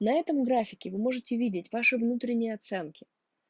на этом графике вы можете видеть ваши внутренние оценки